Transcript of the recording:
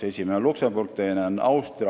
Esimene on Luksemburg ja teine on Austria.